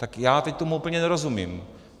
Tak já teď tomu úplně nerozumím.